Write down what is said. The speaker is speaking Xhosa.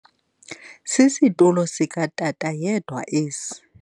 Sisitulo sikatata yedwa esi.